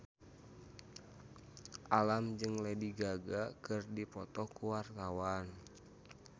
Alam jeung Lady Gaga keur dipoto ku wartawan